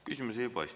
Küsimusi ei paista.